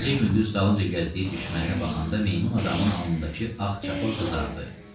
Gecə-gündüz dalınca gəzdiyi düşməninə baxanda meymun adamın alnındakı ağ çapıq qızardı.